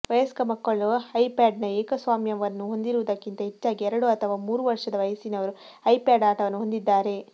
ವಯಸ್ಕ ಮಕ್ಕಳು ಐಪ್ಯಾಡ್ನ ಏಕಸ್ವಾಮ್ಯವನ್ನು ಹೊಂದಿರುವುದಕ್ಕಿಂತ ಹೆಚ್ಚಾಗಿ ಎರಡು ಅಥವಾ ಮೂರು ವರ್ಷದ ವಯಸ್ಸಿನವರು ಐಪ್ಯಾಡ್ ಆಟವನ್ನು ಹೊಂದಿದ್ದಾರೆ